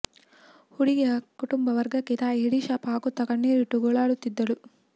ಹುಡುಗಿಯ ಕುಟುಂಬ ವರ್ಗಕ್ಕೆ ತಾಯಿ ಹಿಡಿ ಶಾಪ ಹಾಕುತ್ತಾ ಕಣ್ಣೀರಿಟ್ಟು ಗೋಳಾಡುತ್ತಿದ್ದರು